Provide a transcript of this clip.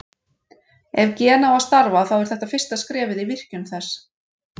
Ef gen á að starfa þá er þetta fyrsta skrefið í virkjun þess.